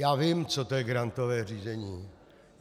Já vím, co to je grantové řízení.